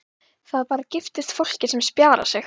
Það bara giftist fólki sem spjarar sig.